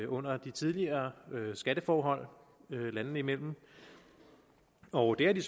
under de tidligere skatteforhold landene imellem og det har de